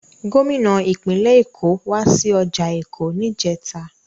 Gómìnà ìpínlẹ̀ Èkó wá sí ọjà Èkó níjẹta.